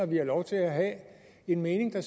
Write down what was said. vi har lov til at have den mening at